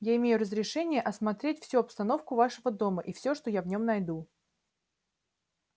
я имею разрешение осмотреть всю обстановку вашего дома и все что я в нем найду